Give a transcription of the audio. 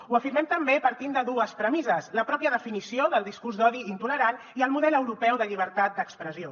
ho afirmem també partint de dues premisses la pròpia definició del discurs d’odi i intolerant i el model europeu de llibertat d’expressió